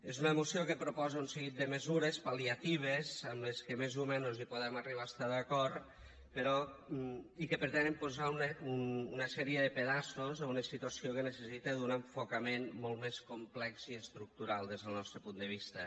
és una moció que proposa un seguit de mesures pal·liatives amb les que més o menys podem arribar a estar d’acord i que pretenen posar una sèrie de pedaços a una situació que necessita un enfocament molt més complex i estructural des del nostre punt de vista